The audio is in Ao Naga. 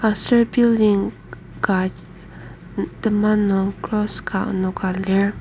aser building ka tema nung cross ka enoka lir.